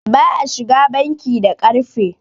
ba a shiga banki da ƙarfe